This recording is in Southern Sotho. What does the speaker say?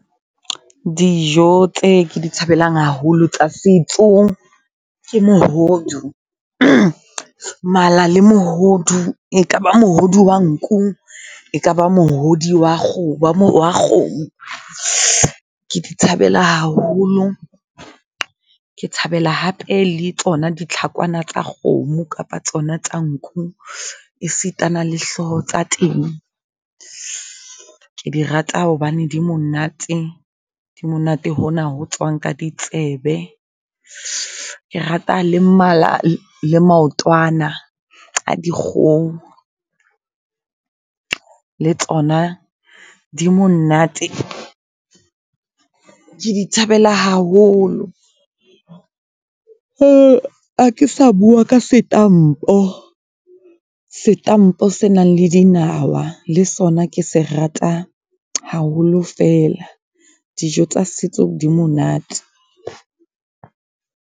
Dijo tse ke di thabelang haholo tsa setso ke mehodu, mala le mohodu. E kaba mohodu wa nku, e kaba mohodi wa kgo wa kgomo. Ke di thabela haholo, ke thabela hape le tsona ditlhakwana tsa kgomo kapa tsona tsa nku, e sitana le hloho tsa teng. Ke di rata hobane di monate, di monate hona ho tswang ka ditsebe. Ke rata le mala le maotwana a dikgoho, le tsona di monate ke di thabela haholo. Hakesa bua ka setampo, setampo se nang le dinawa. Le sona ke se rata haholo fela. Dijo tsa setso di monate.